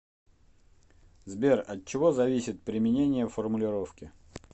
сбер от чего зависит применение формулировки